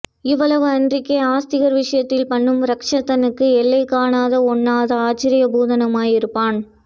இவ்வளவு அன்றிக்கே ஆஸ்ரிதர் விஷயத்தில் பண்ணும் ரக்ஷணத்துக்கு எல்லை காண ஒண்ணாத ஆச்சர்ய பூதனுமாய் இருப்பான்